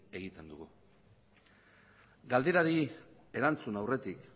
egiten dugu galderari erantzun aurretik